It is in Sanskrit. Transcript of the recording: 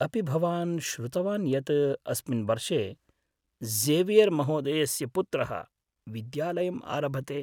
अपि भवान् श्रुतवान् यत् अस्मिन् वर्षे ज़ेवियर् महोदयस्य पुत्रः विद्यालयम् आरभते?